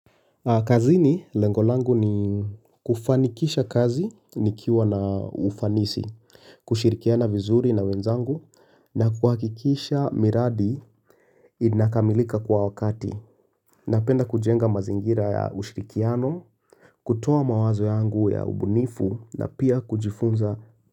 Kazini lengo langu ni kufanikisha kazi nikiwa na ufanisi kushirikiana vizuri na wenzangu na kuhakikisha miradi, inakamilika kwa wakati Napenda kujenga mazingira ya ushirikiano kutoa mawazo yangu ya ubunifu na pia kujifunza.